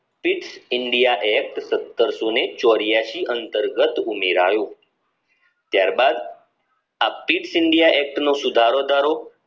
east india act સતરસો ને ચોર્યાસી અંતર્ગત ઉમેરાયું ત્યારબાદ આ ઇસ્ટ india act નો સુધારોદારો